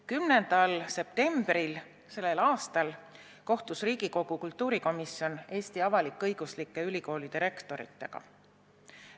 Selle aasta 10. septembril kohtus Riigikogu kultuurikomisjon Eesti avalik-õiguslike ülikoolide rektoritega.